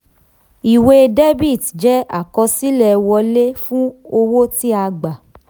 ìwé debit jẹ́ àkọsílẹ̀ wọlé fún owó tí a gba.